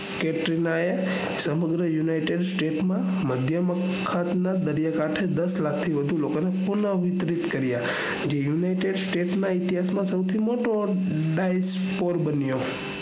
કેટલા સમુદ્ર united state ના મધ્ય ના દરિયા કાંઠે દસ લાખ થી વધારે લોકો ને પુનહ વિચરિત કર્યા જે united state ના ઇતિહાશ માં મોટો dice four બન્યો